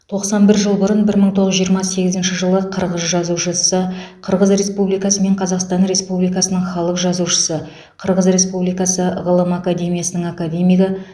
тоқсан бір жыл бұрын бір мың тоғыз жүз жиырма сегізінші жылы қырғыз жазушысы қырғыз республикасы мен қазақстан республикасының халық жазушысы қырғыз республикасы ғылым академиясының академигі